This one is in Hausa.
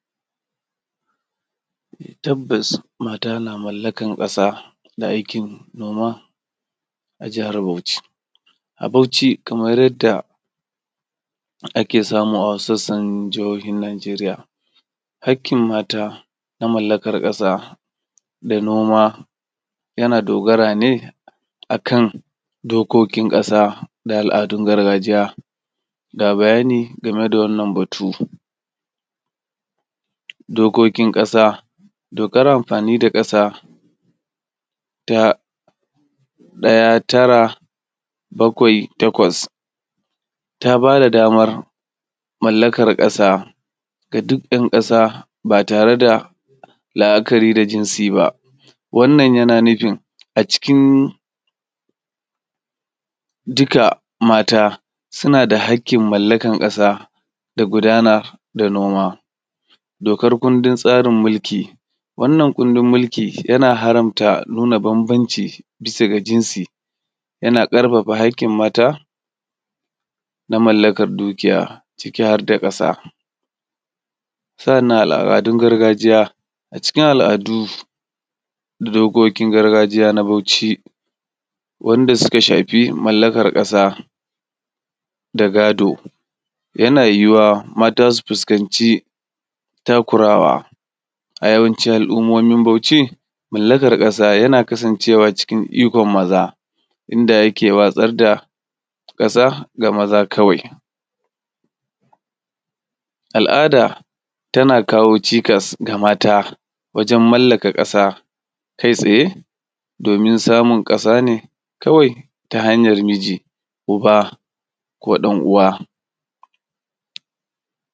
Tabbas mata na mallakan ƙasa ta aikin noma a jihar Bauchi. A Bauchi kama yadda ake samu a wasu sassan jihihin nageriya hakkin mata a mallamakan ƙasa da noma yana dogara ne akan dokokin ƙasa daal’adun gargajiya ga bayani akan wannan batu. Dokokin ƙasa dokar amfani ta ƙasa ta ɗaya tara bakawai takwas ta bada damar mallakan ƙasa ga duk ɗan kasa ba tareda la’akari da jinsi ba. Wanna yana nufin a cikin duk mata sunada hakkin mallakan ƙasa da gudanar da noma. Dokar kundin tsarin mulki wannan kundin mulki yana haramta nuna banbanaci bisaga jinsi yana ƙarfafa kakkin mata na mallan kan dukiya ciki harda ƙasa. Sa’annan al’adun gargajiya cikin al’adu dokokin gargajiya na Bauchi wanda suka shafi mallakar ƙasa da gado yana yuwuwa mata su fuskanci takurawa. A yawancin al ummomin Bauchi mallakan ƙasa yana kasan cewa cikin aikin maza inda yake watsar da ƙasa ga maza kawai al’da tana kawo cikas ga mata wajen mallaka ƙasa kai tsaye domin samun ƙasa ne kawai ta hanyan miji, uba, ko ɗan uwa.